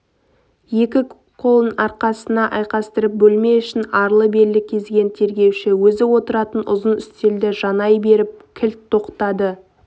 екі қолын арқасына айқастырып бөлме ішін арлы-берлі кезген тергеуші өзі отыратын ұзын үстелді жанай беріп кілт тоқтады